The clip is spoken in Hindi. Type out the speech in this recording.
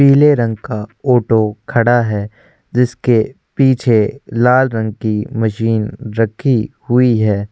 पीले रंग का ऑटो खड़ा है जिसके पीछे लाल रंग की मशीन रखी हुई है।